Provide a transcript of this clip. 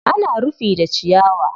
ana rufi da ciyawa.